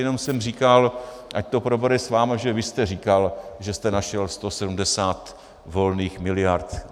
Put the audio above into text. Jenom jsem říkal, ať to probere s vámi, že vy jste říkal, že jste našel 170 volných miliard.